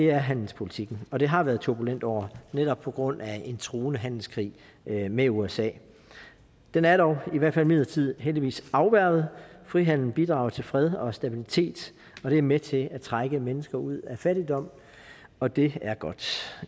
er handelspolitikken og det har været et turbulent år netop på grund af en truende handelskrig med usa den er dog i hvert fald midlertidigt heldigvis afværget frihandel bidrager til fred og stabilitet det er med til at trække mennesker ud af fattigdom og det er godt